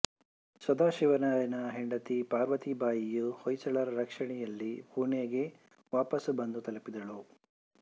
ಸದಾಶಿವರಾಯನ ಹೆಂಡತಿ ಪಾರ್ವತೀಬಾಯಿಯು ಹೋಳ್ಕರರ ರಕ್ಷಣೆಯಲ್ಲಿ ಪುಣೆಗೆ ವಾಪಸು ಬಂದು ತಲುಪಿದಳು